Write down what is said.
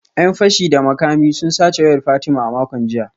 ‘Yan fashi da makami sun sace wayar Fatima a makon jiya